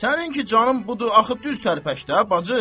Səninki canın budur, axı düz tərpəş də, bacı.